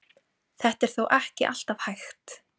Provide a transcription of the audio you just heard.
Þetta er þó ekki alltaf hægt.